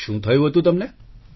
શું થયુ તું તમને